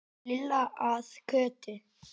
Lilla að Kötu.